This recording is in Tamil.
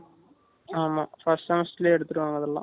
ஆமா first semester லயே எடுத்துருவங்க அதுலாம்.